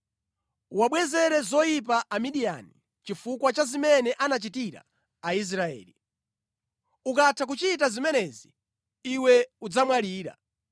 “Uwabwezere zoyipa Amidiyani chifukwa cha zimene anachitira Aisraeli. Ukatha kuchita zimenezi, iwe udzamwalira.”